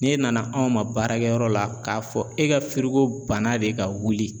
N'e nana anw ma baarakɛ yɔrɔ la k'a fɔ e ka banna de ka wuli.